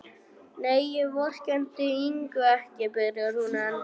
Nei, ég vorkenndi Ingu ekki, byrjar hún enn.